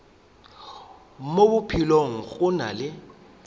mo bophelong go na le